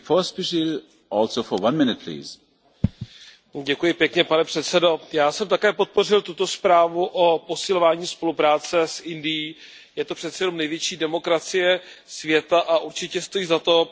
Pane předsedající, já jsem také podpořil tuto zprávu o posilování spolupráce s Indií. Je to přece jenom největší demokracie světa a určitě stojí za to pokusit se prosadit smlouvu o volném obchodu s touto zemí.